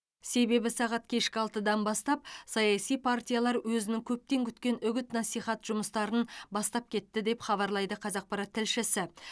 себебі сағат кешкі алтыдан бастап саяси партиялар өзінің көптен күткен үгіт насихат жұмыстарын бастап кетті деп хабарлайды қазақпарат тілшісі